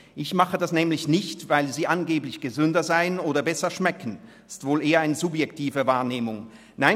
Ich tue dies nämlich nicht, weil sie angeblich gesünder sind oder besser schmecken – was wohl eher unter subjektiver Wahrnehmung läuft.